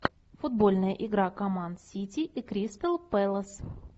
футбольная игра команд сити и кристал пэлас